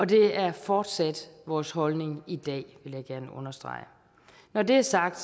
det er fortsat vores holdning i dag vil jeg gerne understrege når det er sagt